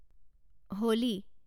Holi